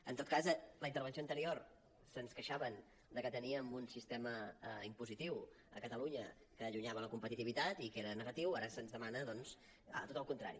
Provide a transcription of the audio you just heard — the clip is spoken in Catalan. en tot cas en la intervenció anterior se’ns queixaven de que teníem un sistema impositiu a catalunya que allunyava la competitivitat i que era negatiu ara se’ns demana doncs tot el contrari